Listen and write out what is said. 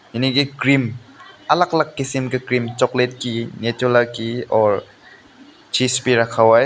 यानी की क्रीम अलग अलग किस्म की क्रीम चॉकलेट की न्यूट्रेला की और चीज़ भी रखा हुआ है।